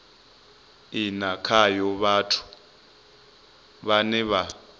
ine khayo vhathu vhane vha